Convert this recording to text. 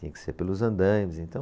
Tinha que ser pelos andaimes, então...